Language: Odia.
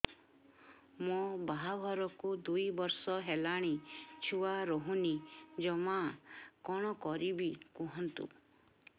ମୋ ବାହାଘରକୁ ଦୁଇ ବର୍ଷ ହେଲାଣି ଛୁଆ ରହୁନି ଜମା କଣ କରିବୁ କୁହନ୍ତୁ